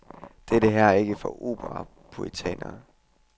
Dette her er ikke for operapuritanere.